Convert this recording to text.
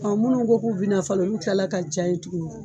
Ɔ munnu ko k'u bi na falen olu kila la ka ja ye tuguni